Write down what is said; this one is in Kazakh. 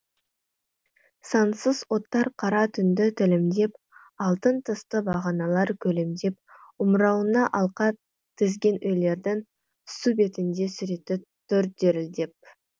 сансыз оттар қара түнді тілімдеп алтын тісті бағаналар күлімдеп омырауына алқа тізген үйлердің су бетінде суреті тұр дірілдеп